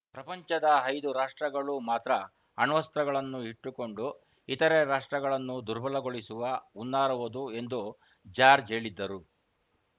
ಪ್ರಪಂಚದ ಐದು ರಾಷ್ಟ್ರಗಳು ಮಾತ್ರ ಅಣ್ವಸ್ತ್ರಗಳನ್ನು ಇಟ್ಟುಕೊಂಡು ಇತರೆ ರಾಷ್ಟ್ರಗಳನ್ನು ದುರ್ಬಲಗೊಳಿಸುವ ಹುನ್ನಾರವದು ಎಂದು ಜಾರ್ಜ್ ಹೇಳಿದ್ದರು